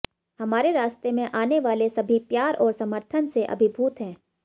हमारे रास्ते में आने वाले सभी प्यार और समर्थन से अभिभूत हैं